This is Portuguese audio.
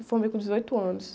Me formei com dezoito anos.